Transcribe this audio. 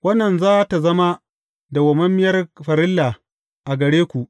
Wannan za tă zama dawwammamiyar farilla a gare ku.